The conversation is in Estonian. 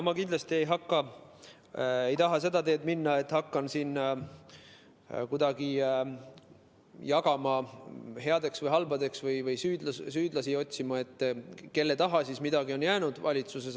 Ma kindlasti ei taha seda teed minna, et hakkan siin kuidagi jagama valitsusliikmeid headeks ja halbadeks või süüdlasi otsima, et kelle taha siis midagi on valitsuses jäänud.